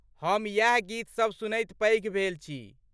हम इएह गीत सभ सुनैत पैघ भेल छी।